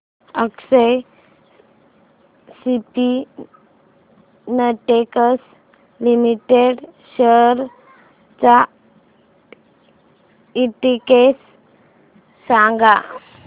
अक्षर Spintex Limited shares चा index सांगा